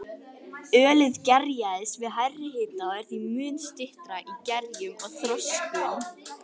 Ölið gerjast við hærri hita og er því mun styttra í gerjun og þroskun.